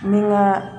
N bɛ n ka